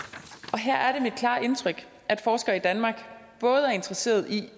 her er det mit klare indtryk at forskere i danmark både er interesserede i